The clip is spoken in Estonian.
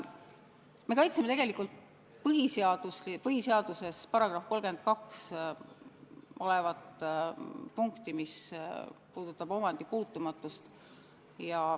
Me kaitseme põhiseaduse §-s 32 olevat punkti, mis puudutab omandi puutumatust.